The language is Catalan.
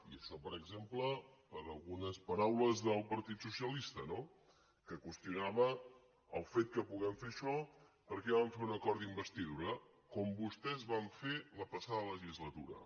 i això per exemple per algunes paraules del partit socialista no que qüestionava el fet que puguem fer això perquè vam fer un acord d’investidura com vos·tès van fer la passada legislatura